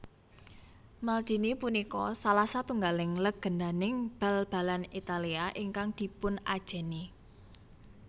Maldini punika salah satunggaling lègèndaning bal balan Italia ingkang dipunajèni